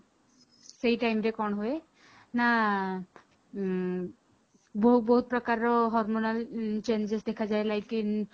ସେଇ timeରେ କଣ ହୁଏ ନା ଉଁ ବହୁତ ବହୁତ ପ୍ରକାରର hormonal changes ଦେଖା ଯାଏ like in